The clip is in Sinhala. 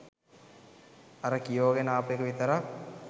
අර කියෝගෙන ආපු එක විතරක්